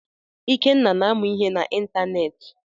Ikenna na-amụ ihe na ịntanetị.